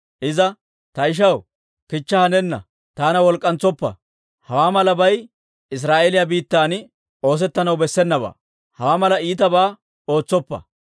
Iza, «Ta ishaw, kichcha hanenna! Taana wolk'k'antsoppa! Hawaa malabay Israa'eeliyaa biittan oosettanaw bessenabaa; hawaa mala iitabaa ootsoppa.